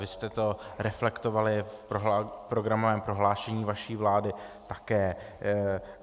Vy jste to reflektovali v programovém prohlášení vaší vlády také.